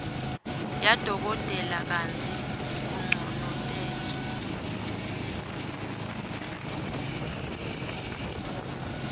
yadokotela kantsi unconotelwa